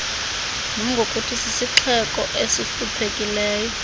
nangokuthi sisixeko esihluphekileyo